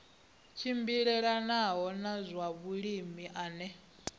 tshimbilelanaho na zwa vhulimi ane